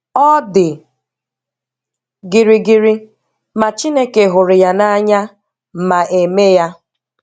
Ọ dị gịrịgịrị, ma Chineke hụrụ ya n'anya ma a-eme ya.